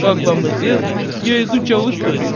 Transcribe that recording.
как вам известно я изучал историю